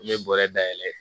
N ye bɔrɛ da yɛlɛ